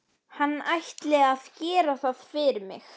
Hann ætli að gera það fyrir mig.